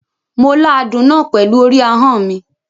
Mo la àádún náà pẹ̀lú orí ahọ́n mi.